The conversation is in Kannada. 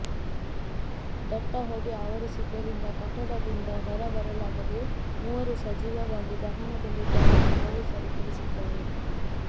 ದಟ್ಟ ಹೊಗೆ ಆವರಿಸಿದ್ದರಿಂದ ಕಟ್ಟಡದಿಂದ ಹೊರ ಬರಲಾಗದೇ ಮೂವರು ಸಜೀವವಾಗಿ ದಹನಗೊಂಡಿದ್ದಾರೆ ಎಂದು ಪೊಲೀಸರು ತಿಳಿಸಿದ್ದಾರೆ